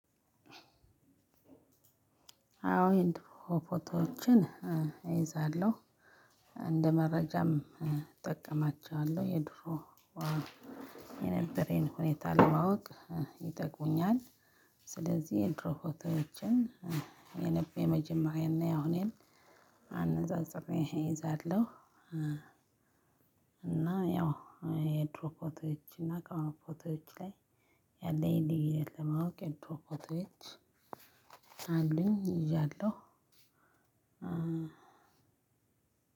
አዎ የድሮ ፎቶዎችን እይዛለው እንደ መረጃም እጠቀማቸዋለሁ የድሮ የነበረኝን ሁኔታ ለማወቅ ይጠቅሙኛል። ስለዚህ የድሮ ፎቶዎችን የነበ የመጀመሪያ እና የአሁኔን አነጻጽሬ እይዛለሁ እና ያው የድሮ ፎቶዎች እና ከአሁኑ ፎቶዎች ላይ ያለኝ ልዩነት ለማወቅ የድሮ ፎቶዎች አሉኝ ይዣለሁ